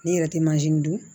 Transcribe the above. Ne yɛrɛ tɛ dun